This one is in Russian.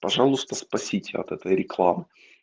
пожалуйста спасите от этой рекламы